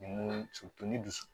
Ni mun ni dusu